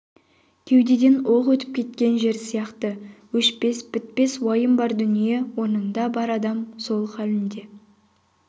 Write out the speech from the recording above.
кеудеден оқ өтіп кеткен жер сияқты өшпес бітпес уайым бар дүние орнында бар адам сол халінде